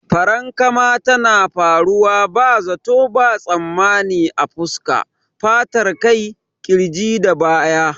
Farankama tana faruwa ba zato ba tsammani a fuska, fatar kai, kirji da baya.